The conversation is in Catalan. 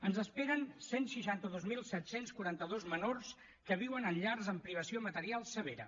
ens esperen cent i seixanta dos mil set cents i quaranta dos menors que viuen en llars amb privació material severa